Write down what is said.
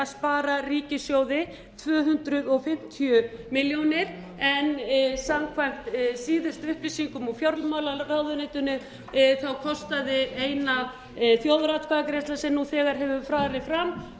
spara ríkissjóði tvö hundruð fimmtíu milljónir króna en samkvæmt síðustu upplýsingum úr fjármálaráðuneytinu kostaði eina þjóðaratkvæðagreiðslan sem nú þegar hefur farið fram